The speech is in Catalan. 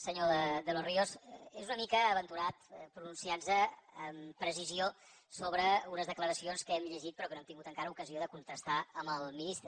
senyor de los ríos és una mica aventurat pronunciar nos amb precisió sobre unes declaracions que hem llegit però que no hem tingut encara ocasió de contrastar amb el ministre